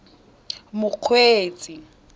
mokgweetsi